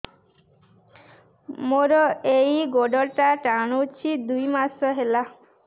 ମୋର ଏଇ ଗୋଡ଼ଟା ଟାଣୁଛି ଦୁଇ ମାସ ହେଲା